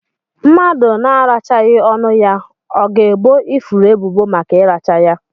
Mmadụ na arachaghi ọnụ ya, ọ ga ebọ ifuru ebubo màkà iracha ya?